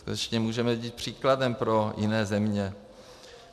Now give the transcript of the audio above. Skutečně můžeme jít příkladem pro jiné země.